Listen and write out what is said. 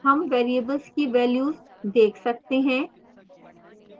हम variables की values देख सकते हैं